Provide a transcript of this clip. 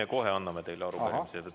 Me kohe anname teile arupärimise.